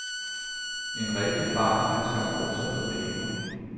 En rigtig bar er skam også for damer.